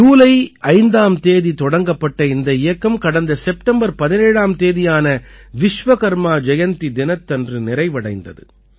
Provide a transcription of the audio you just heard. ஜூலை 5ஆம் தேதி தொடங்கப்பட்ட இந்த இயக்கம் கடந்த செப்டம்பர் 17ஆம் தேதியான விஸ்வகர்மா ஜயந்தி தினத்தன்று நிறைவடைந்தது